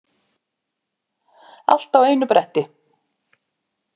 Alla á einu bretti.